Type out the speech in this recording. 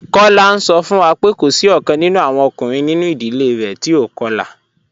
Kola n sọ fun wa pé kò sí ọ̀kan nínú awọn ọkùnrin nínú idílé rẹ̀ tí o kọ̀la.